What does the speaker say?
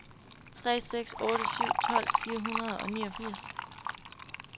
tre seks otte syv tolv fire hundrede og niogfirs